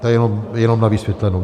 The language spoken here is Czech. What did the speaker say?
To je jenom na vysvětlenou.